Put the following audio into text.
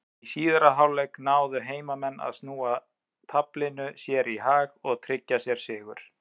Í síðari hálfleik náðu heimamenn að snúa taflinu sér í hag og tryggja sér sigur.